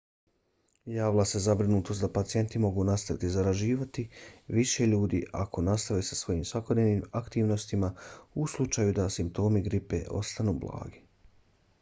javila se zabrinutost da pacijenti mogu nastaviti zaražavati više ljudi ako nastave sa svojim svakodnevnim aktivnostima u slučaju da simptomi gripe ostanu blagi